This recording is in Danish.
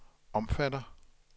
omfatter